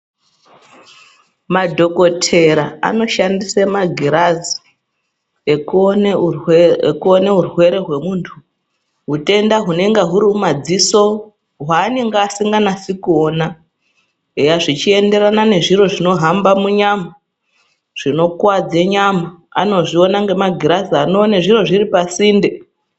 Madhokotera anoshandisa magirazi ekuona urwere wemuntu utenda unenge uri mumadziso wanenge asinganasi kuona zvichienderana nezviro zvinohamba munyama zvinokuwadza nyama anozviona nemagirazi anozviona zviro zviri pasinde.